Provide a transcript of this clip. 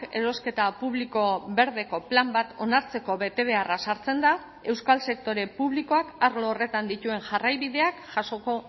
erosketa publiko berdeko plan bat onartzeko betebeharra sartzen da euskal sektore publikoak arlo horretan dituen jarraibideak jasoko